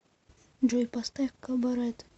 джой поставь кабарет